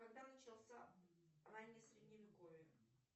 когда начался раннее средневековье